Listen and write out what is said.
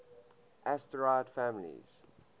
asterid families